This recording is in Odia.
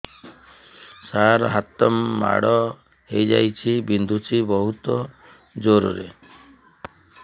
ସାର ହାତ ମାଡ଼ ହେଇଯାଇଛି ବିନ୍ଧୁଛି ବହୁତ ଜୋରରେ